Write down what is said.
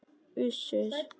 Uss, uss.